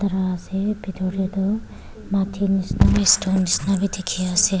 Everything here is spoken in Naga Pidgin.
kara ase bitor tey toh mati nisina bi stone nisina bi dekhi ase.